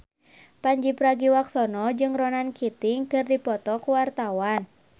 Pandji Pragiwaksono jeung Ronan Keating keur dipoto ku wartawan